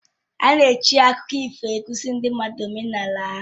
Ana eji akụkọ ifo akụziri ndị mmadụ omenala ha